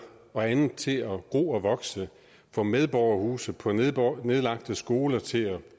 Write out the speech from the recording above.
og andet til at gro og vokse få medborgerhuse på nedlagte skoler til at